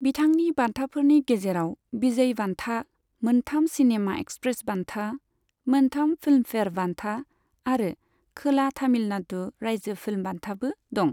बिथांनि बान्थाफोरनि गेजेराव विजय बान्था, मोनथाम सिनेमा एक्सप्रेस बान्था, मोनथाम फिल्मफेयार बान्था, आरो खोला तामिलनाडु रायजो फिल्म बान्थाबो दं।